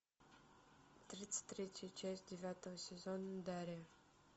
тридцать третья часть девятого сезона дарья